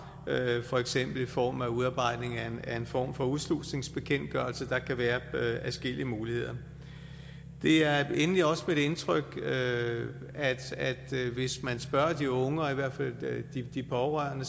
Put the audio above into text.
for eksempel i form af udarbejdelse af en form for udslusningsbekendtgørelse der kan være adskillige muligheder det er endelig også mit indtryk at hvis man spørger de unge og i hvert fald de pårørende